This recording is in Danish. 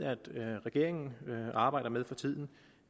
regeringen arbejder med for tiden